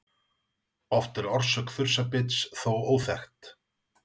Oft er orsök þursabits þó óþekkt.